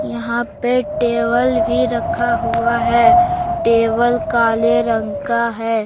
यहां पे टेबल भी रखा हुआ है टेबल काले रंग का है।